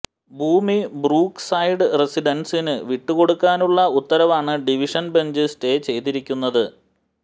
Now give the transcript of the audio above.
ഭൂമി Brookside റെസിഡന്സിന് വിട്ടുകൊടുക്കാനുള്ള ഉത്തരവാണ് ഡിവിഷന് ബെഞ്ച് സ്റ്റേ ചെയ്തിരിക്കുന്നത്